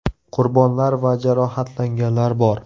Qurbonlar va jarohatlanganlar bor.